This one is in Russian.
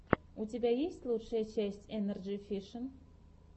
у тебя есть лучшая часть энерджи фишин